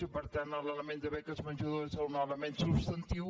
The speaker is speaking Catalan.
i per tant l’element de beques menjador és un element substantiu